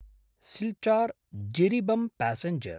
Silchar-Jiribam passenger